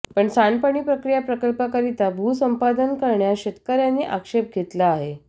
पण सांडपाणी प्रक्रिया प्रकल्पाकरिता भूसंपादन करण्यास शेतकऱयांनी आक्षेप घेतला आहे